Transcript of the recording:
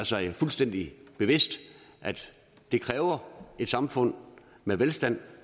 sig fuldstændig bevidst at det kræver et samfund med velstand